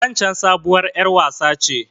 Waccen sabuwar ƴar wasa ce.